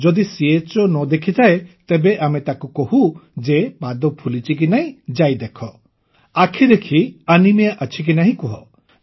ଯଦି ଚୋ ନ ଦେଖିଥାଏ ତେବେ ଆମେ ତାକୁ କହୁ ଯେ ପାଦ ଫୁଲିଛି କି ନାହିଁ ଯାଇ ଦେଖ ଆଖି ଦେଖି ଆନିମିଆ ଅଛି କି ନାହିଁ କୁହ